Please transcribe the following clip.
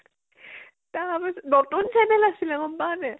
তা নতুন চেন্দেল আছিল, গম পাৱ নে নাই